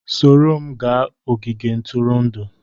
Soro m gaa n'ogige ntụrụndụ